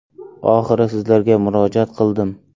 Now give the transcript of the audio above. Oxiri sizlarga murojaat qildim.